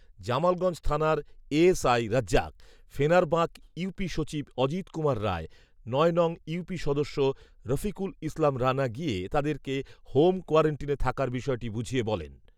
জামালগঞ্জ থানার A S I Razzak, Fenarbak UP সচিব অজিত কুমার রায়, ঌনং ইউপি সদস্য রফিকুল ইসলাম রানা গিয়ে তাদেরকে হোম কোয়ারেন্টিনে থাকার বিষয়টি বুঝিয়ে বলেন